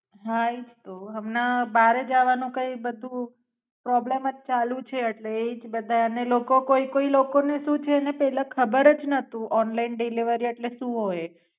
હા એ જ તો. હમણાં બારે જવાનું કઈ બધું પ્રોબલમ જ ચાલુ છે એટલે એ જ બધાને લોકો કોઈ કોઈ લોકો ને શું છે ને એટલે ખબર જ નતું ઓનલાઇન ડિલવરી એટલે શું હોય એ